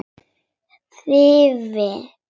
Hringi aftur!